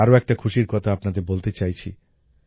আমি আরো একটি খুশির কথা আপনাদের বলতে চাইছি